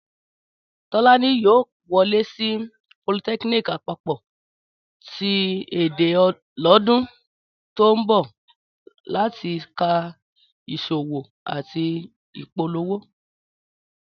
Tọ́lání yóò wọlé sí politẹ́kíníìkì àpapọ̀ ti Ẹdẹ lọ́dún tó ń bọ̀ láti ka ìṣòwò àti ìpolówó